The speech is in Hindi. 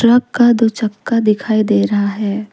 ट्रक का दो चक्का दिखाई दे रहा है।